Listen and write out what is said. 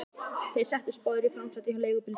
Þeir settust báðir í framsætið hjá leigubílstjóranum.